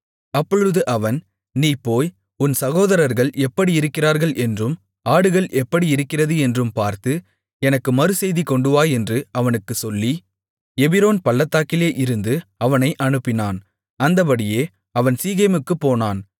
அப்பொழுது அவன் நீ போய் உன் சகோதரர்கள் எப்படி இருக்கிறார்கள் என்றும் ஆடுகள் எப்படி இருக்கிறது என்றும் பார்த்து எனக்கு மறுசெய்தி கொண்டுவா என்று அவனுக்குச் சொல்லி எபிரோன் பள்ளத்தாக்கிலே இருந்து அவனை அனுப்பினான் அந்தப்படியே அவன் சீகேமுக்குப் போனான்